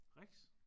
Rex?